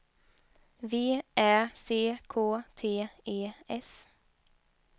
V Ä C K T E S